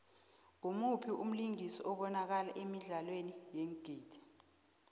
ngumuphi umlingisi obanakala emidlalweni yeengidi